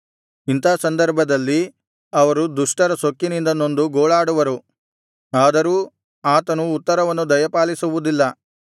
ಇಂಥಾ ಸಂದರ್ಭದಲ್ಲಿ ಅವರು ದುಷ್ಟರ ಸೊಕ್ಕಿನಿಂದ ನೊಂದು ಗೋಳಾಡುವರು ಆದರೂ ಆತನು ಉತ್ತರವನ್ನು ದಯಪಾಲಿಸುವುದಿಲ್ಲ